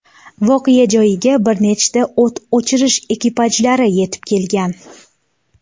Voqea joyiga bir nechta o‘t o‘chirish ekipajlari yetib kelgan.